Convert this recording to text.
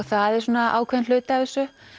það er ákveðinn hluti af þessu